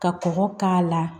Ka kɔgɔ k'a la